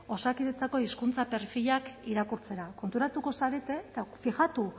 osakidetzako hizkuntza perfilak irakurtzera konturatuko zarete eta fijatu